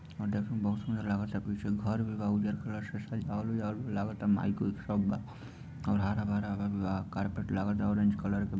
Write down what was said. आ देखा बहुत कुछ लागता पीछे घर भी बा उजर कलर से सजावल उजावल लागता माइक उइक सब अंधारा बाड़ा कारपेट लागता ऑरेंज कलर के |